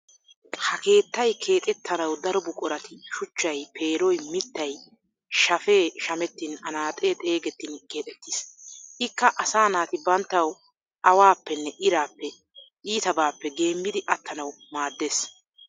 Ha keettay keexettanawu daro buqurati shuchchay, peeroy, mittay, shafee shamettin anaaxee xeegettin keexettiis. Ikka asaa naati banttawu awaappenne iraappe, iitabaappe geemmidi attanawu maaddees.